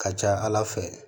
Ka ca ala fɛ